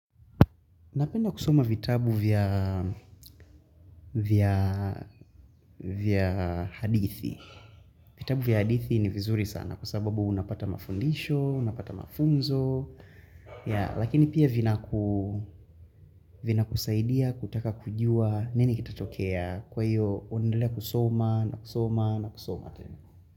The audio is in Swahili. Napenda kusoma vitabu vya hadithi. Vitabu vya hadithi ni vizuri sana kwa sababu unapata mafundisho, unapata mafunzo. Lakini pia vinakusaidia, kutaka kujua, nini kitatokea kwa hiyo unaendelea kusoma, na kusoma, na kusoma.